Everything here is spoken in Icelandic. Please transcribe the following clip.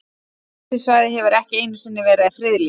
Geysissvæðið hefur ekki einu sinni verið friðlýst.